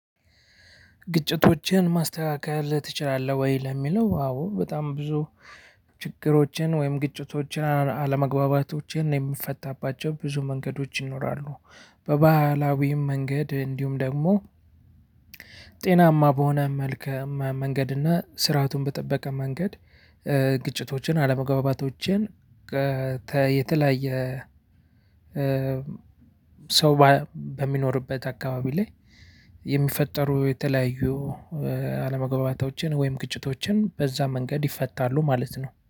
ግጭቶችህን ማስተካከል ትችላለህ ወይ? ለሚለው አዎ በጣም ብዙ ችግሮችን ወይም ግጭቶችን አለመግባባቶችን የምፈታባቸው ብዙ መንገዶች ይኖራሉ። በባህላዊም መንገድ እንዲሁም ደግሞ ጤናማ በሆነ መልክ መንገድና ስርዓቱን በጠበቀ መንገድ። ግጭቶችን አለመግባባቶችን የተለያየ ሰው በሚኖርበት አካባቢ ላይ የሚፈጠሩ የተለያዩ አለመግባባቶችን ወይም ግጭቶችን በዛ መንገድ ይፈታሉ ማለት ነው